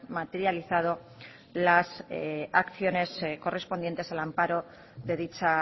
materializado las acciones correspondientes al amparo de dicha